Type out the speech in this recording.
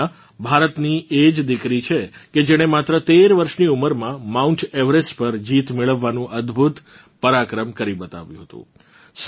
પૂર્ણા ભારતની એ જ દિકરી છે કે જેણે માત્ર 13 વર્ષની ઉંમરમાં માઉન્ટ એવરેસ્ટ પર જીત મેળવવાનું અદભુત પરાક્રમ કરી બતાવ્યું હતું